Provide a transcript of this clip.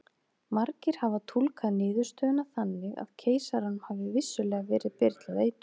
Margir hafa túlkað niðurstöðuna þannig að keisaranum hafi vissulega verið byrlað eitur.